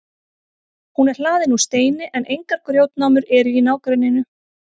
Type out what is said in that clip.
hún er hlaðin úr steini en engar grjótnámur eru í nágrenninu